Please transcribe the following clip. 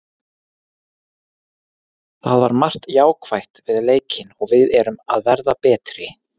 Það var margt jákvætt við leikinn og við erum að verða betri.